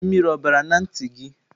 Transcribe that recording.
Mmiri o bara na nti gi?